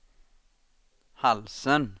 halsen